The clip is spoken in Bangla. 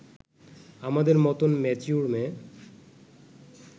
আমাদের মতন ম্যাচিওর মেয়ে